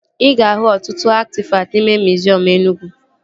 Ị ga-ahụ ọtụtụ atịfakt n'ime miziọm Enugwu